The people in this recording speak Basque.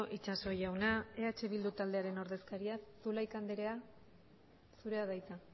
itxaso jauna eh bildu taldearen ordezkariak zulaika andrea zurea da hitza